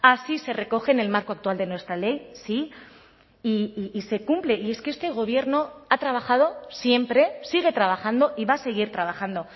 así se recoge en el marco actual de nuestra ley sí y se cumple y es que este gobierno ha trabajado siempre sigue trabajando y va a seguir trabajando